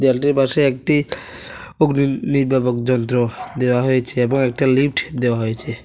দেওয়ালটির পাশে একটি যন্ত্র দেওয়া হয়েছে এবং একটা লিফট দেওয়া হয়েছে।